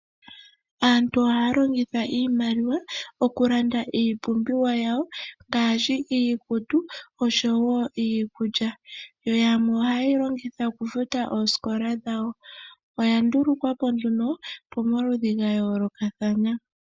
Aantu oha yalongitha iimaliwa okulanda iipumbiwa yawo ngaashi iikutu oshowo iikulya. Yo yamwe ohaye yi longitha okufuta oosikola dhawo. Oya ndulukwa po nduno pomaludhi ga yoolokathana.